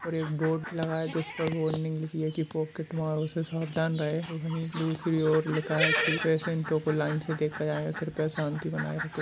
और एक बोर्ड लगा है जिस पर वार्निंग लिखी है की पॉकेट मारो से सावधान रहें और वही दूसरी और लिखा है की पेटेंटों को लाइन से देखा जाएगा कृपया शांति बनाये रखें।